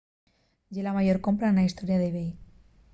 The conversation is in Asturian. ye la mayor compra na hestoria d'ebay